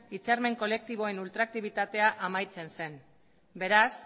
hitzarmen kolektiboen ultraaktibitatea amaitzen zen beraz